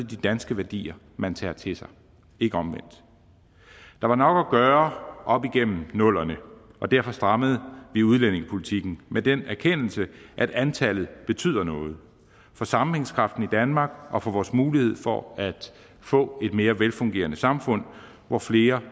de danske værdier man tager til sig ikke omvendt der var nok at gøre op gennem nullerne derfor strammede vi udlændingepolitikken med den erkendelse at antallet betyder noget for sammenhængskraften i danmark og for vores mulighed for at få et mere velfungerende samfund hvor flere